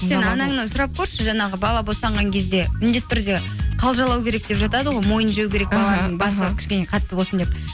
сұрап көрші жаңағы бала босанған кезде міндетті түрде қалжалау керек деп жатады ғой мойын жеу керек кішкене қатты болсын деп